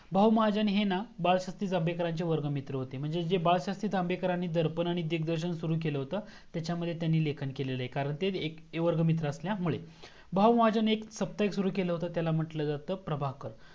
बहुमहजण हे ना बलशास्त्री जंभेकर यांचे वर्ग मित्रा होते म्हणजे जे बाळ शस्त्री जंभेकर दर्पण आणि दिग्न्दर्शक सुरू केल होतं तच्यामध्ये त्यांनी लेखन केल आहे कारण तेएक A वर्ग मित्रा असल्यामुळे बहुमहाजण एक साप्ताहिक सुरू केल होतं त्याला म्हंटलं जात प्रभाकर